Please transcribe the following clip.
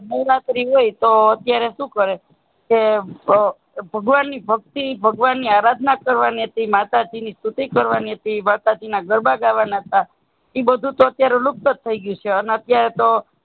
નવરાત્રી હોય તો ત્યારે શું કરે ભગવાન ની ભક્તિ ભગવાન ની આરાધના કરવાની હતી માતાજી ની સ્તુતિ કરવાંની હતી માતા જી ના ગરબા ગાવા ના હતા ઈ બધું તો અત્યારે લુપ્ત જ થઇ ગયું સે અને અત્યારે તો